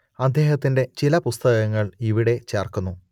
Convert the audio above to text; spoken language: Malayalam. അദ്ദേഹത്തിന്റെ ചില പുസ്തകങ്ങൾ ഇവിടെ ചേർക്കുന്നു